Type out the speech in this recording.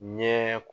Ɲɛ